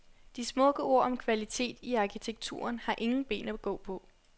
De smukke ord om kvalitet i arkitekturen har ingen ben at gå på.